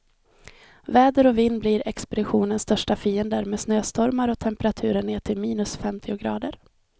Väder och vind blir expeditionens största fiender, med snöstormar och temperaturer ner till minus femtio grader.